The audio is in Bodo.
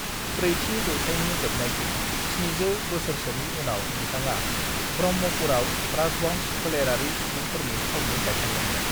ब्रैथि जौथाइनि जोबनायथिं 700 बोसोरसोनि उनाव बिथाङा ब्रह्मपुरआव राजबंश फोलेरारि सुबुंफोरनि थावनि गायसनदोंमोन।